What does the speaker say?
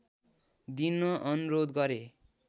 दिन अनुरोध गरे